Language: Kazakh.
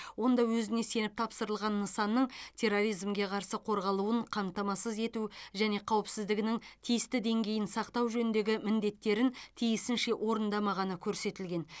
онда өзіне сеніп тапсырылған нысанның терроризмге қарсы қорғалуын қамтамасыз ету және қауіпсіздігінің тиісті деңгейін сақтау жөніндегі міндеттерін тиісінше орындамағаны көрсетілген